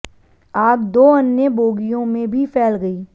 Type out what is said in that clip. आग दो अन्य बोगियों में भी फैल गई